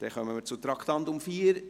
Wir kommen zum Traktandum 14.